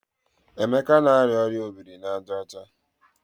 Emeka na-arịa ọrịa obiri n'aja ọcha.